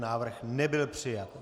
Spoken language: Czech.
Návrh nebyl přijat.